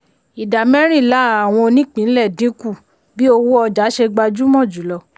ìdá mẹ́rìnlá àwọn onípínlẹ̀ dínkù bí owó ọjà ṣe gbajúmọ̀ jùlọ.